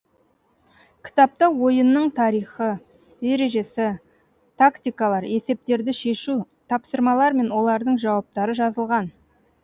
кітапта ойынның тарихы ережесі тактикалар есептерді шешу тапсырмалар мен олардың жауаптары жазылған